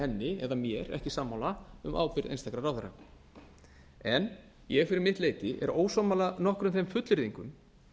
henni eða mér ekki sammála um ábyrgð einstakra ráðherra en ég fyrir mitt leyti er ósammála nokkrum þeim fullyrðingum